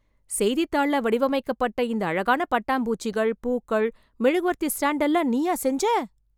செய்தித்தாள்ள வடிவமைக்கப்பட்ட இந்த அழகான பட்டாம் பூச்சிகள், பூக்கள், மெழுகுவர்த்தி ஸ்டாண்ட் எல்லாம் நீயா செஞ்ச....